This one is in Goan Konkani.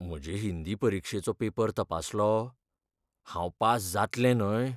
म्हजे हिंदी परिक्षेचो पेपर तपासलो? हांव पास जातलें न्हय?